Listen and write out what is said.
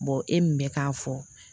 e min bɛ k'a fɔ